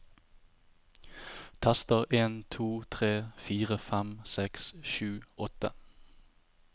Tester en to tre fire fem seks sju åtte